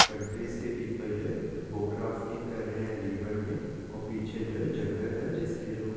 countries के people जो है बोट राफ्टिंग कर रहे है रिवर में और पीछे जो है जंगल --